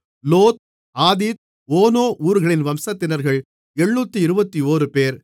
லோத் ஆதீத் ஓனோ ஊர்களின் வம்சத்தினர்கள் 721 பேர்